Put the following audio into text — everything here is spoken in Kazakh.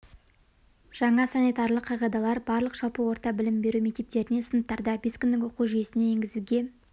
жаңа санитарлық қағидалар барлық жалпы орта білім беру мектептеріне сыныптарда бес күндік оқу жүйесін енгізуге